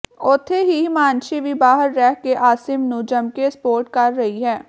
ਉੱਥੇ ਹੀ ਹਿਮਾਂਸ਼ੀ ਵੀ ਬਾਹਰ ਰਹਿ ਕੇ ਆਸਿਮ ਨੂੰ ਜੱਮਕੇ ਸਪੋਰਟ ਕਰ ਰਹੀ ਹੈ